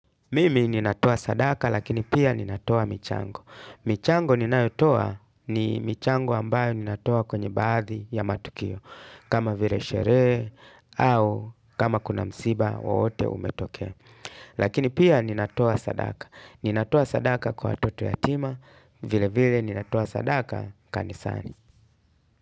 Mimi ninatoa sadaka lakini pia ninatoa michango. Michango ninayotoa ni michango ambayo ninatoa kwenye baadhi ya matukio. Kama vile sherehe au kama kuna msiba wowote umetokea. Lakini pia ninatua sadaka. Ninatoa sadaka kwa watoto yatima vile vile ninatoa sadaka kanisani.